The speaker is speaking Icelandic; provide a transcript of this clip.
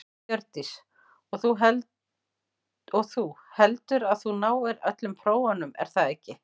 Hjördís: Og þú, heldurðu að þú náir öllum prófunum er það ekki?